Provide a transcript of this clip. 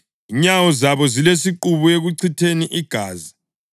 “Inyawo zabo zilesiqubu ekuchitheni igazi;